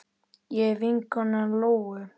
Ég er vinkona Lóu.